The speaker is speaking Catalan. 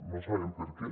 no sabem per què